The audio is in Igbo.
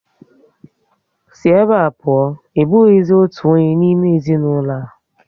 Sí ebe a pụọ! Ị bụghịzi otu onye n'ime ezinaụlọ a